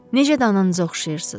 Necə də ananıza oxşayırsız.